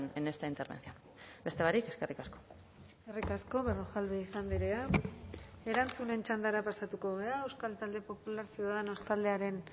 en esta intervención beste barik eskerrik asko eskerrik asko berrojalbiz andrea erantzunen txandara pasatuko gara euskal talde popular ciudadanos taldearen